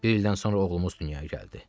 Bir ildən sonra oğlumuz dünyaya gəldi.